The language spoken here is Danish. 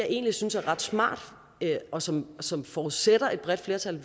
egentlig synes er ret smart og som som forudsætter et bredt flertal